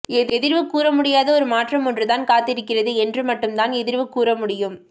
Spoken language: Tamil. எதிர்வு கூறமுடியாத ஒரு மாற்றம் ஒன்றுதான் காத்திருக்கிறது என்று மட்டும் தான் எதிர்வு கூற முடியும்